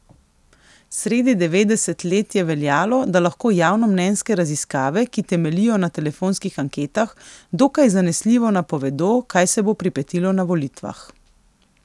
Sredi devetdeset let je veljalo, da lahko javnomnenjske raziskave, ki temeljijo na telefonskih anketah, dokaj zanesljivo napovedo, kaj se bo pripetilo na volitvah.